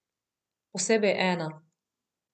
Posebej ena.